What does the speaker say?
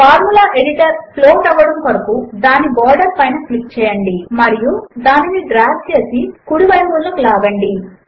formula editor float అవ్వడము కొరకు దాని బోర్డర్ పైన క్లిక్ చేయండి మరియు దానిని కుడి వైపున డ్రాగ్ చేయండి